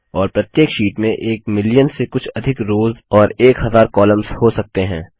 और प्रत्येक शीट में एक मिलियन से कुछ अधिक रोज और एक हजार कॉलम्स हो सकते हैं